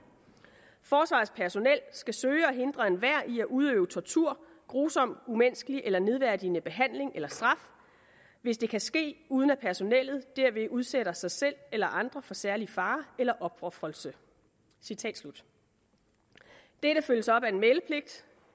forsvarets personel skal søge at hindre enhver i at udøve tortur grusom umenneskelig eller nedværdigende behandling eller straf hvis det kan ske uden at personellet derved udsætter sig selv eller andre for særlig fare eller opofrelse citat slut dette følges op af en meldepligt